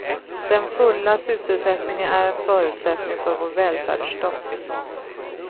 Den fulla sysselsättningen är en förutsättning för vår välfärdsstat.